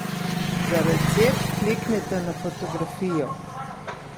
Za recept kliknite na fotografijo.